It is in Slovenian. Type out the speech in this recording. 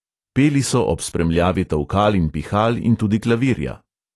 Peli so ob spremljavi tolkal in pihal in tudi klavirja.